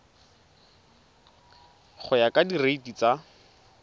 go ya ka direiti tsa